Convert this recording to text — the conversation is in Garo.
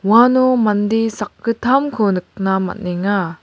uano mande sakgittamko nikna man·enga.